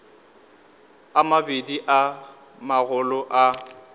a mabedi a magolo a